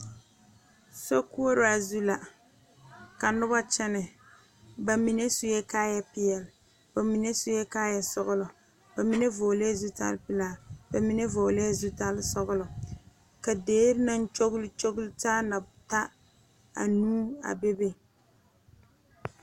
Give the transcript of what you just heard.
Sokoɔraa zu la ka noba kyɛnɛ ba mine sue kaayɛpeɛle ba mine sue kaayɛsɔglɔ ba mine vɔglɛɛ zutalpelaa ba mine vɔglɛɛ zutalsɔglɔ ka deri naŋ kyogli kyogli taa na ta anuu a bebe.